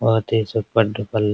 बहुत ही super duper --